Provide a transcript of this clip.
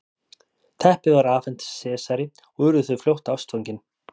teppið var afhent sesari og urðu þau fljótt ástfangin